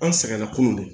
An sɛgɛnna kunun de